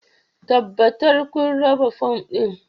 Tabbatar kun raba fom ɗin